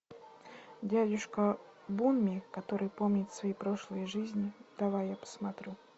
дядюшка бунми который помнит свои прошлые жизни давай я посмотрю